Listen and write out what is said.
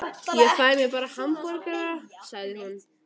Ég fæ mér bara hamborgara, sagði hún.